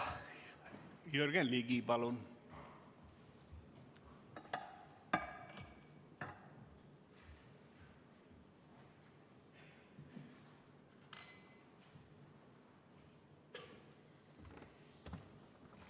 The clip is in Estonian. Jürgen Ligi, palun!